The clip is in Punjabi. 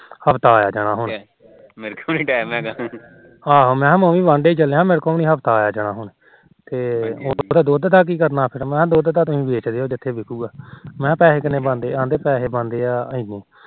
ਆਹੋ ਮੈ ਵੀ ਕਿਹਾ ਮੈ ਵੀ ਵਾਢਾ ਚੱਲਿਆ ਮੇਰੇ ਤੋ ਵੀ ਨੀ ਆਇਆ ਜਾਣਾ ਕਹਿੰਦੇ ਦੁਧ ਦਾ ਕੀ ਕਰਨਾ ਆਗਾ ਮੈ ਕਿਹਾ ਦੁਧ ਤੁਸੀ ਵੇਚ ਦਿਉ ਜਿਥੇ ਮਰਜੀ ਮੈ ਕਿਹਾ ਪੈਹੇ ਕਿਨੇ ਬਣਦੇ ਆ ਮੈ ਪੇਹੇ ਬਣਦੇ ਆ ਇੰਨੀ